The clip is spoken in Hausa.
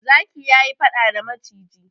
Zaki ya yi faɗa da maciji.